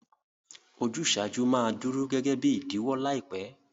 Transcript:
Ojúsàjú ma duro gẹgẹ bi ìdíwọ́ làìpẹ́